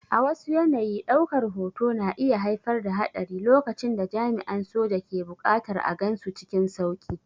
A wasu yanayi, ɗaukar hoto na iya haifar da haɗari lokacin da jami'an soja ke buƙatar a gansu cikin sauƙi.